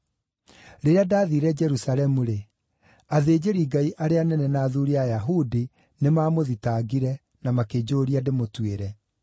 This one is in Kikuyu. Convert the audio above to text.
Rĩrĩa ndaathiire Jerusalemu-rĩ, athĩnjĩri-Ngai arĩa anene na athuuri a Ayahudi nĩmamũthitangire, na makĩnjũũria ndĩmũtuĩre.